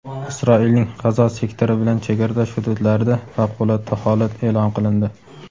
Isroilning G‘azo sektori bilan chegaradosh hududlarida favqulodda holat eʼlon qilindi.